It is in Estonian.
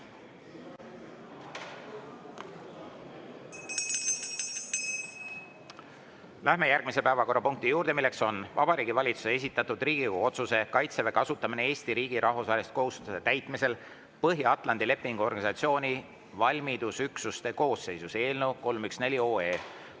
Läheme järgmise päevakorrapunkti juurde, milleks on Vabariigi Valitsuse esitatud Riigikogu otsuse "Kaitseväe kasutamine Eesti riigi rahvusvaheliste kohustuste täitmisel Põhja-Atlandi Lepingu Organisatsiooni valmidusüksuste koosseisus" eelnõu 314.